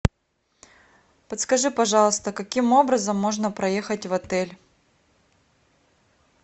подскажи пожалуйста каким образом можно проехать в отель